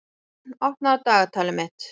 Rögn, opnaðu dagatalið mitt.